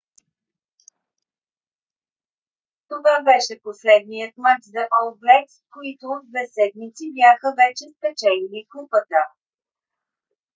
това беше последният мач за ол блекс които от две седмици бяха вече спечелили купата